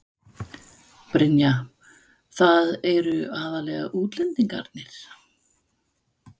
Brynja: Það eru aðallega útlendingarnir?